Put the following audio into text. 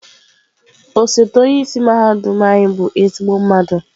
Osote onye isi mahadum anyị bụ ezigbo mmadụ.